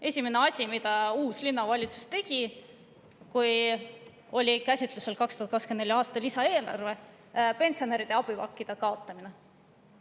Esimene asi, mida uus linnavalitsus tegi, kui oli käsitlusel 2024. aasta lisaeelarve, oli pensionäride abipakkide kaotamine.